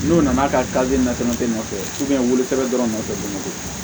N'u nana kare na dɔrɔn e nɔfɛ wolotɛ dɔrɔn de nɔfɛ